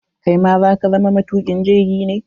Kai ma za ka zama matukin jirgi ne?